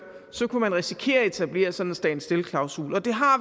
kunne man risikere at etablere sådan en stand still klausul og det har